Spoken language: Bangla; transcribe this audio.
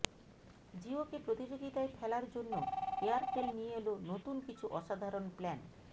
জিওকে প্রতিযোগিতায় ফেলার জ্যন এয়ারটেল নিয়ে এল নতুন কিছু অসাধারন প্ল্যান